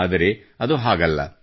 ಆದರೆ ಅದು ಹಾಗಲ್ಲ